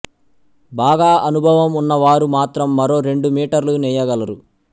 బాగా అనుభవం ఉన్న వారు మాత్రం మరో రెండు మీటర్లు నేయగలరు